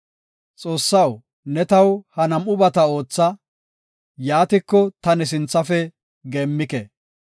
Xoossaw ne taw ha nam7ubata ootha; yaatiko ta ne sinthafe geemmike.